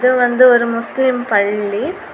இது வந்து ஒரு முஸ்லிம் பள்ளி.